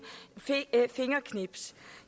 fingerknips